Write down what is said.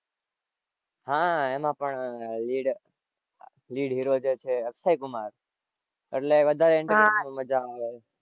હાં એમાં પણ lead lead hero જે છે અક્ષય કુમાર એટલે વધારે entertainment માં મજા આવે.